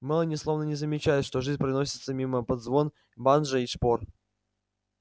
мелани словно не замечает что жизнь проносится мимо под звон банджо и шпор